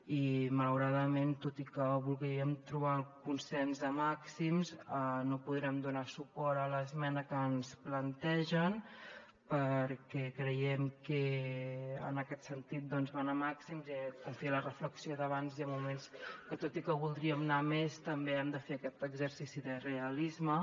i malauradament tot i que volíem trobar el consens de màxims no podrem donar suport a l’esmena que ens plantegen perquè creiem que en aquest sentit doncs van a màxims i com feia en la reflexió d’abans hi ha moments que tot i que voldríem anar a més també hem de fer aquest exercici de realisme